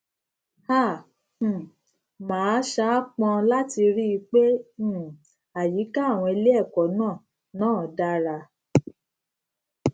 a um máa saápọn láti rí i pé um àyíká àwọn ilé ẹkọ náà náà dára